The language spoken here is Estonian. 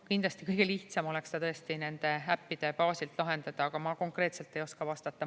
Kindlasti kõige lihtsam oleks seda tõesti nende äppide baasilt lahendada, aga ma konkreetselt ei oska vastata.